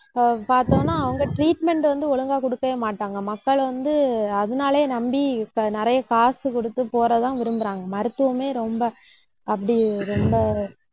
அஹ் பார்த்தோம்னா அவங்க treatment வந்து ஒழுங்கா கொடுக்கவே மாட்டாங்க. மக்கள் வந்து அதனாலேயே நம்பி இப்ப நிறைய காசு கொடுத்து போறத தான் விரும்புறாங்க மருத்துவமே ரொம்ப அப்படி ரொம்ப